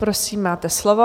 Prosím, máte slovo.